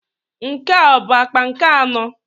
Nke a ọ bụ akpa nke anọ?